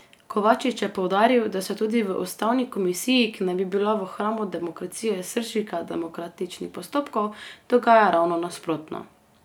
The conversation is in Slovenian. Kovačič je poudaril, da se tudi v ustavni komisiji, ki naj bi bila v hramu demokracije srčika demokratičnih postopkov, dogaja ravno nasprotno.